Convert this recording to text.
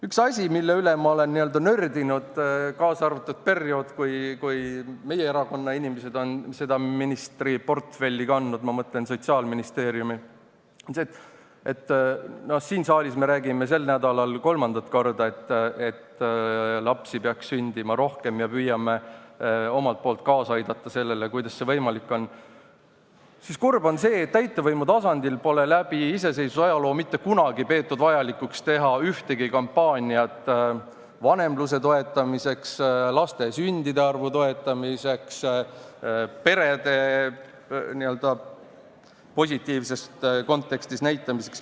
Üks asi, mille üle ma olen nördinud, kaasa arvatud periood, kui meie erakonna inimesed on seda ministriportfelli kandnud, ma mõtlen sotsiaalministri oma – no siin saalis me räägime sel nädalal kolmandat korda, et lapsi peaks sündima rohkem ja püüame kaasa aidata, et see oleks võimalik –, siis kurb on see, et täitevvõimu tasandil pole läbi iseseisvuse ajaloo mitte kunagi peetud vajalikuks teha ühtegi kampaaniat vanemluse toetamiseks, laste sündide arvu toetamiseks, perede n-ö positiivses kontekstis näitamiseks.